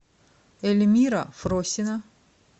эльмира фросина